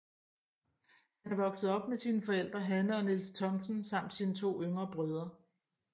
Han er vokset op med sine forældre Hanne og Niels Thomsen samt sine to yngre brødre